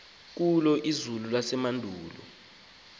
kulo izulu nasemehlweni